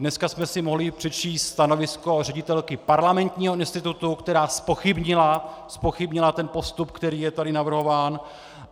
Dneska jsme si mohli přečíst stanovisko ředitelky Parlamentního institutu, která zpochybnila ten postup, který je tady navrhován.